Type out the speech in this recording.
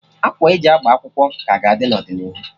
Akwa e ji agba akwụkwọ ka ga-adị n'ọdịnihu